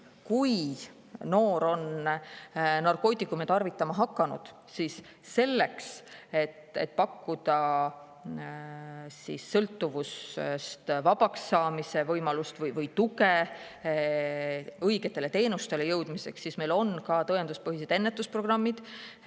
Kui noor on narkootikume tarvitama hakanud, siis selleks, et pakkuda sõltuvusest vabaks saamise võimalust ja muud tuge õigete teenuste saamiseks, on meil tõenduspõhised ennetusprogrammid.